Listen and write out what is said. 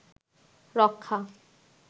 রক্ষা